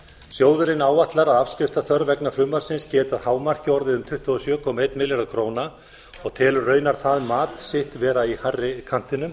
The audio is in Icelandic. sjóðurinn áætlar að afskriftaþörf vegna frumvarpsins geti að hámarki orðið um tuttugu og sjö komma einn milljarður króna og telur raunar það mat sitt vera í hærri kantinum